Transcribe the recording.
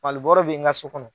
Malibɔrɔ bɛ n ka so kɔnɔ.